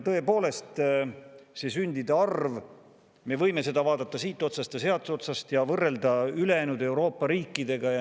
Tõepoolest, see sündide arv, me võime seda vaadata siit otsast ja sealt otsast ja võrrelda ülejäänud Euroopa riikidega.